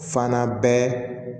Fana bɛ